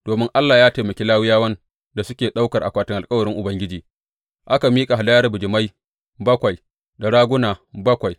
Domin Allah ya taimaki Lawiyawan da suke ɗaukar akwatin alkawarin Ubangiji, aka miƙa hadayar bijimai bakwai da raguna bakwai.